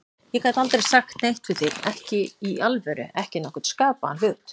Ég gat aldrei sagt neitt við þig, ekki í alvöru, ekki nokkurn skapaðan hlut.